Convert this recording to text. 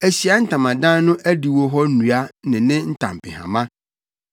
Ahyiae Ntamadan no adiwo hɔ nnua ne ne ntampehama,